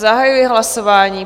Zahajuji hlasování.